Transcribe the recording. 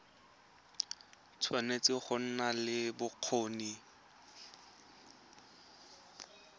tshwanetse go nna le bokgoni